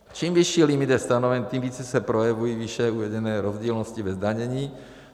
Čím vyšší limit je stanoven, tím více se projevují výše uvedené rozdílnosti ve zdanění.